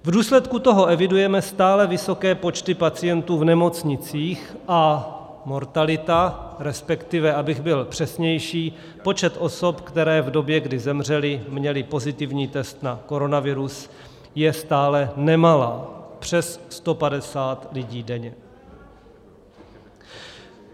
V důsledku toho evidujeme stále vysoké počty pacientů v nemocnicích a mortalita - respektive, abych byl přesnější, počet osob, které v době, kdy zemřely, měly pozitivní test na koronavirus - je stále nemalá, přes 150 lidí denně.